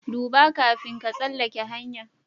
Dubba, kafin ka tsalake hanya'n.